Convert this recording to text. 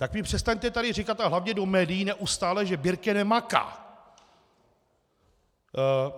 Tak mi přestaňte tady říkat a hlavně do médií neustále, že Birke nemaká!